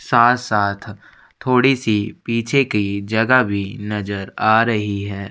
साथ-साथ थोड़ी सी पीछे की जगह भी नज़र आ रही है।